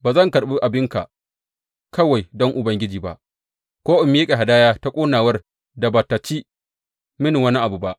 Ba zan karɓi abinka kawai don Ubangiji ba, ko in miƙa hadaya ta ƙonawar da ba tă ci mini wani abu ba.